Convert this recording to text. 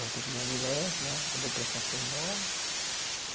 Voltei com minha mulher né, a depressão foi embora.